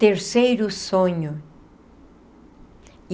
Terceiro sonho.